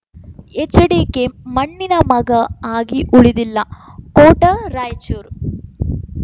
HDK ಮಣ್ಣಿನ ಮಗ ಆಗಿ ಉಳಿದಿಲ್ಲ ಕೋಟ ರಾಯಚೂರು